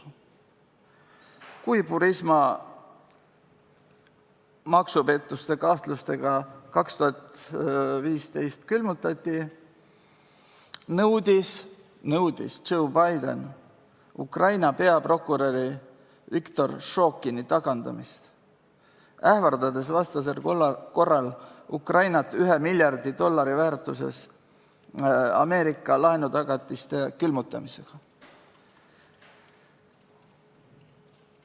Kui Burisma maksupettuste kahtluse tõttu 2015. aastal külmutati, nõudis Joe Biden Ukraina peaprokuröri Viktor Šokini tagandamist, ähvardades vastasel korral Ukrainat 1 miljardi dollari ulatuses Ameerika laenutagatiste külmutamisega.